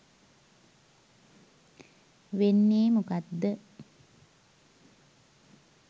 වෙන්නේ මොකද්ද